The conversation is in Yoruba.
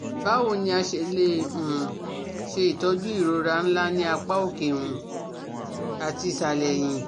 Bawo ni a se le um ṣe itọju irora nla ni apa oke um ati isalẹ ẹ̀yìn?